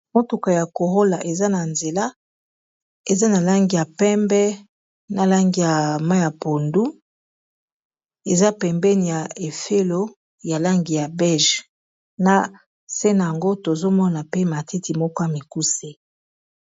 Motuka ya Corolla eza na nzela eza na langi ya pembe na langi ya mayi ya pondu eza pembeni ya efelo ya langi ya beige na se nayango tozomona pe matiti moko ya mikuse